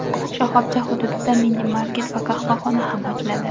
Shoxobcha hududida minimarket va qahvaxona ham ochiladi.